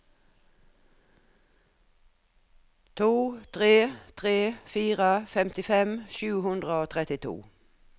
to tre tre fire femtifem sju hundre og trettito